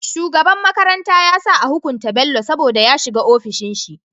Shugaban makaranta yasa a hukunta bello saboda ya shiga ofishin shi